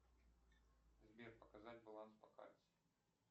сбер показать баланс по карте